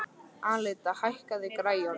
Alida, hækkaðu í græjunum.